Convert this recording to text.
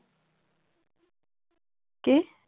কি?